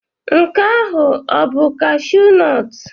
Nke ahụ ọ bụ kashụụ nọt?